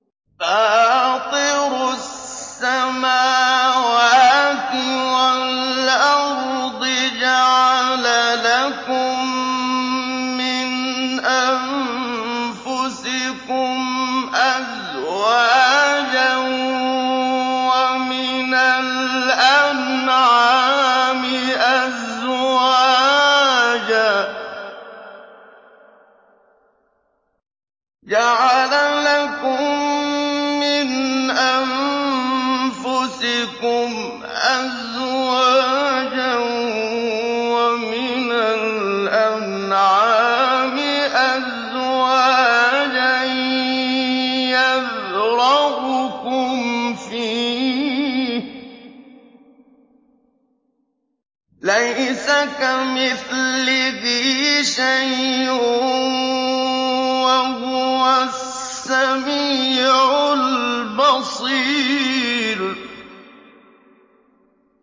فَاطِرُ السَّمَاوَاتِ وَالْأَرْضِ ۚ جَعَلَ لَكُم مِّنْ أَنفُسِكُمْ أَزْوَاجًا وَمِنَ الْأَنْعَامِ أَزْوَاجًا ۖ يَذْرَؤُكُمْ فِيهِ ۚ لَيْسَ كَمِثْلِهِ شَيْءٌ ۖ وَهُوَ السَّمِيعُ الْبَصِيرُ